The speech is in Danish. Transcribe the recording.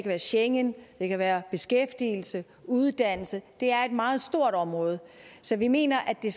være schengen det kan være beskæftigelse og uddannelse det er et meget stort område så vi mener at den